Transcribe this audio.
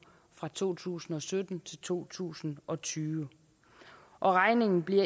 fra to tusind og sytten til to tusind og tyve og regningen bliver